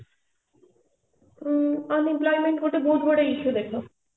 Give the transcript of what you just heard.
unemployment ଗୋଟେ ବହୁତ ବଡ issue ଦେଖ